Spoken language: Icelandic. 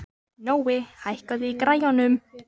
Nói, hækkaðu í græjunum.